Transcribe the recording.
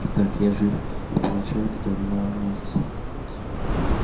и так я жив и получаю от этого немало удовольствия